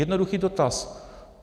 Jednoduchý dotaz.